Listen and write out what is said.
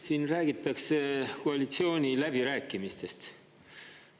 Siin räägitakse koalitsiooniläbirääkimistest.